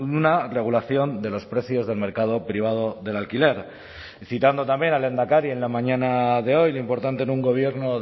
una regulación de los precios del mercado privado del alquiler y citando también al lehendakari en la mañana de hoy lo importante en un gobierno